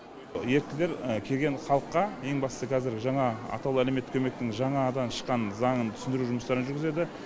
еріктілер келген халыққа ең бастысы қазір жаңа атаулы әлеуметтік көмектің жаңадан шыққан заңын түсіндіру жұмыстарын жүргізеді